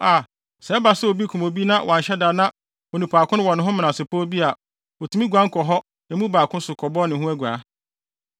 a, sɛ ɛba sɛ obi kum obi na wanhyɛ da na onni onipa ko no ho menasepɔw bi a otumi guan kɔ kɔ emu baako so kɔbɔ ne ho aguaa.